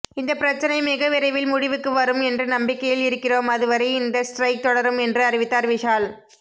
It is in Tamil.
இந்த பிரச்சனை மிகவிரைவில் முடிவுக்கு வரும் என்று நம்பிக்கையில் இருக்கிறோம் அதுவரை இந்த ஸ்ட்ரைக் தொடரும் என்று அறிவித்தார் விஷால்